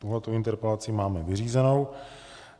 Tuto interpelaci máme vyřízenou.